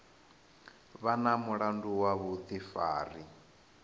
vha na mulandu wa vhuḓifari